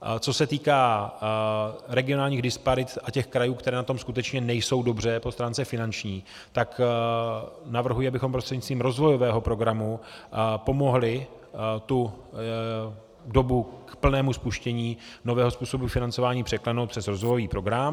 Co se týká regionálních disparit a těch krajů, které na tom skutečně nejsou dobře po stránce finanční, tak navrhuji, abychom prostřednictvím rozvojového programu pomohli tu dobu k plnému spuštění nového způsobu financování překlenout přes rozvojový program.